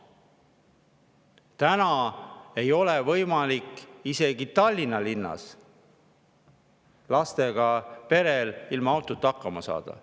Täna ei ole võimalik isegi Tallinna linnas lastega perel ilma autota hakkama saada.